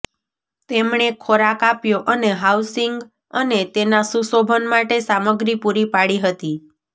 તેમણે ખોરાક આપ્યો અને હાઉસિંગ અને તેના સુશોભન માટે સામગ્રી પૂરી પાડી હતી